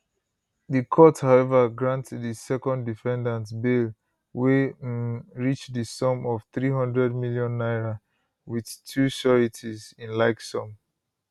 di court however grant di second defendant bail wey um reach di sum of 300m naira with two sureties in like sum